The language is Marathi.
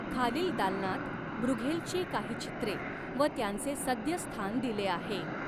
खालील दालनात ब्रूघेलची काही चित्रे व त्यांचे सद्य स्थान दिले आहे.